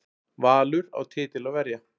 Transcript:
Valur á titil að verja